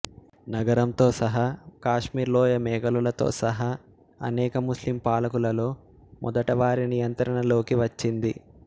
నగరంతో సహా కాశ్మీర్ లోయ మొఘలులతో సహా అనేక ముస్లిం పాలకులలో మొదట వారి నియంత్రణలోకి వచ్చింది